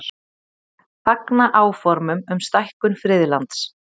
Fagna áformum um stækkun friðlands